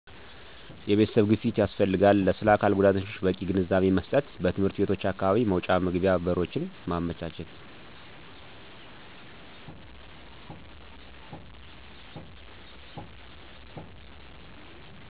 የቤተሰብ ግፊት ያስፈልጋል ስለአካልጉዳተኞች በቂ ግንዛቤመስጠት በትምህርት ቤቶች አካባቢ መውጫ መግቢያ በሮችን ማመቻቸት